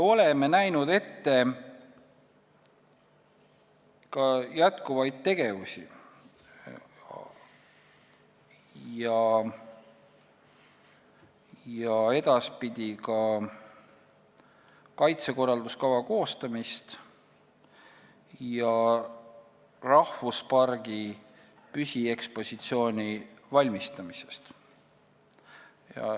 Me näeme ette jätkuvaid tegevusi ning edaspidi ka kaitsekorralduskava koostamise ja rahvuspargi püsiekspositsiooni valmistamise.